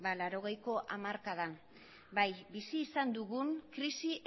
laurogeiko hamarkadan bai bizi izan dugun krisi